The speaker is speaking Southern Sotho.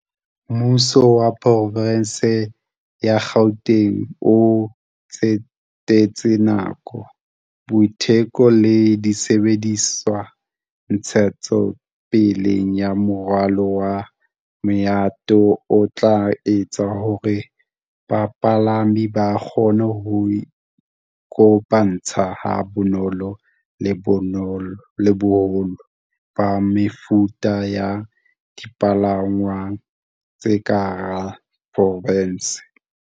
Mmuso wa Porofenseng ya Gauteng o tsetetse nako, boiteko le disebediswa ntshetsopeleng ya moralo wa maeto o tla etsang hore bapalami ba kgone ho iko pantsha ha bonolo le boholo ba mefuta ya dipalangwang tse ka hara porofense.